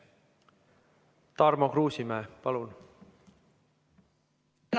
Tarmo Kruusimäe, palun!